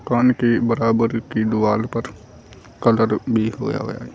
दुकान के बराबर की दुआर पर कलर भी होया होया है।